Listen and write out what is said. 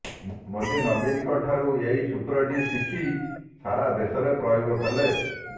ମୋଦି ନବୀନଙ୍କଠାରୁ ଏହି ସୂତ୍ରଟି ଶିଖ ସାରା ଦେଶରେ ପ୍ରୟୋଗ କଲେ